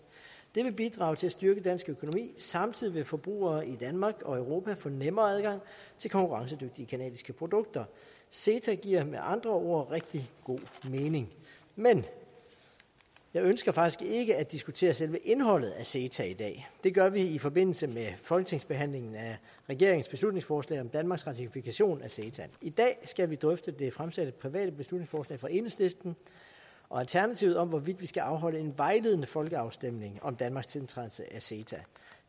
det vil bidrage til at styrke dansk økonomi samtidig vil forbrugere i danmark og europa få nemmere adgang til konkurrencedygtige canadiske produkter ceta giver med andre ord rigtig god mening men jeg ønsker faktisk ikke at diskutere selve indholdet af ceta i dag det gør vi i forbindelse med folketingsbehandlingen af regeringens beslutningsforslag om danmarks ratifikation af ceta i dag skal vi drøfte det fremsatte private beslutningsforslag fra enhedslisten og alternativet om hvorvidt vi skal afholde en vejledende folkeafstemning om danmarks tiltrædelse af ceta